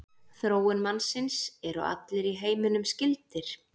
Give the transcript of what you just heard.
Þróun mannsins Eru allir í heiminum skyldir?